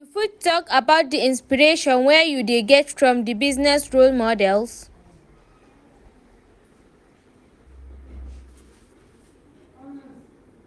You fit talk about di inspiration wey you dey get from di business role models.